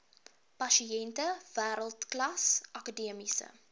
pasiënte wêreldklas akademiese